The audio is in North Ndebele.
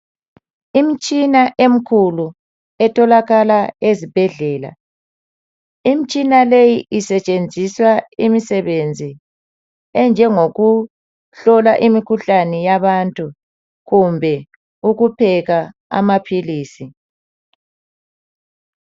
Imitshina emikhulu etholakala ezibhedlela. Imitshina le isetshenziswa imisebenzi enjengokuhlola imikhuhlane yabantu, kumbe ukuphekaa amaphilisi.